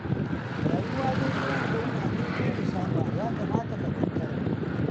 Rayuwa dai zo mu zauna zo mu saɓa ce, ya kamata ka mantar.